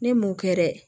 Ne m'o kɛ dɛ